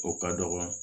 O ka dɔgɔ